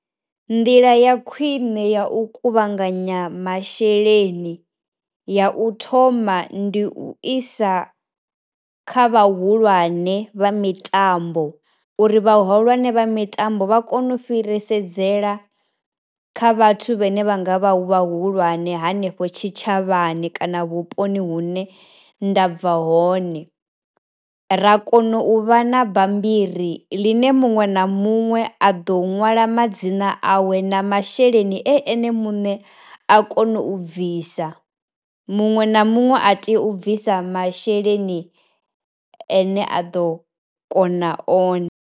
Nḓila ya khwine ya u kuvhanganya masheleni ya u thoma ndi u isa kha vhahulwane vha mitambo uri vhahulwane vha mitambo vha kone u fhirisa dzela kha vhathu vhane vha nga vha hu vhahulwane hanefho tshitshavhani kana vhuponi hune ndabva hone, ra kona uvha na bammbiri ḽine muṅwe na muṅwe a ḓo u ṅwala madzina a we na masheleni ene muṋe a kono u bvisa, muṅwe na muṅwe a tea u bvisa masheleni ane a ḓo kona one.